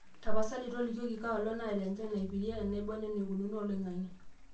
tapasali tolikioki kaaolong' naata enchan aipirie enaibon eneikununo oloing'ang'e